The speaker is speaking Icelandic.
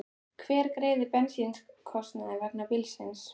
Hver greiðir bensínkostnað vegna bílsins?